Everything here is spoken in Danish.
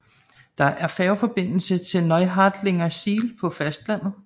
Der er færgeforbindelse til Neuharlingersiel på fastlandet